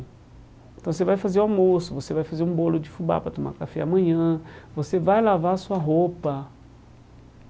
Então você vai fazer almoço, você vai fazer um bolo de fubá para tomar café amanhã, você vai lavar sua roupa.